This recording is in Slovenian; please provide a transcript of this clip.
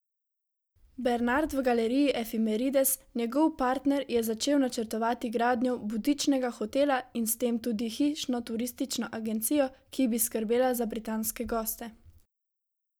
Bernard v galeriji Efimerides, njegov partner je začel načrtovati gradnjo butičnega hotela in s tem tudi hišno turistično agencijo, ki bi skrbela za britanske goste.